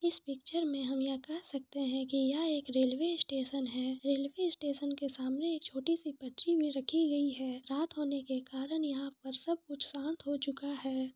इस पिक्चर में हम ये कह सकते है की यह एक रेलवे स्टेशन है रेलवे स्टेशन के सामने एक छोटी सी पटरी में रखी गई है रात होने के कारण यहां पर सब कुछ शांत हो चूका है ।